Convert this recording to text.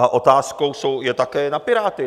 A otázka je také na Piráty.